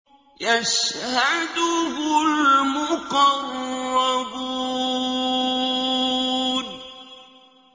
يَشْهَدُهُ الْمُقَرَّبُونَ